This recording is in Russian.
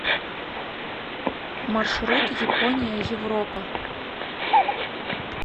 маршрут япония европа